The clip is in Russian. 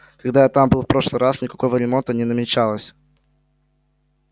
когда я там был в прошлый раз никакого ремонта не намечалось